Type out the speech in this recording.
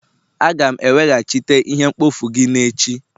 Aga'm eweghachite ihe mkpofu gị n'echi